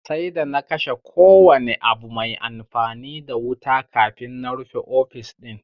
Sai d ana kashe kowane abu mai amfani da wuta kafin na rufe ofis din